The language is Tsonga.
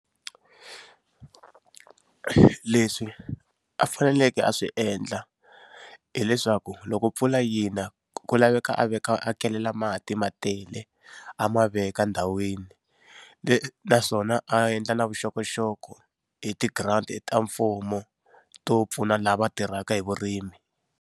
Leswi a faneleke a swi endla hileswaku loko mpfula yi na ku laveka a veka a kelela mati ma tele, a ma veka ndhawini naswona a endla na vuxokoxoko hi ti-grant ta mfumo to pfuna lava tirhaka hi vurimi.